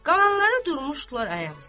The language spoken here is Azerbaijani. Qalanları durmuşdular ayaq üstə.